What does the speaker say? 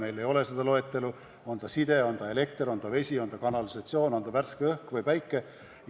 Meil ei ole seda loetelu – on see side, on see elekter, on see vesi, on see kanalisatsioon, on see värske õhk või päike.